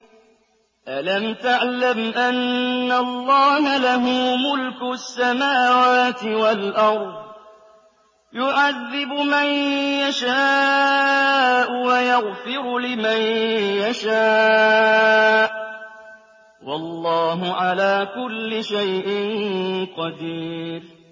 أَلَمْ تَعْلَمْ أَنَّ اللَّهَ لَهُ مُلْكُ السَّمَاوَاتِ وَالْأَرْضِ يُعَذِّبُ مَن يَشَاءُ وَيَغْفِرُ لِمَن يَشَاءُ ۗ وَاللَّهُ عَلَىٰ كُلِّ شَيْءٍ قَدِيرٌ